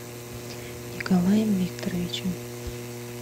николаем викторовичем